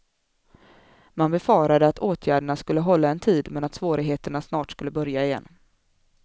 Man befarade att åtgärderna skulle hålla en tid men att svårigheterna snart skulle börja igen.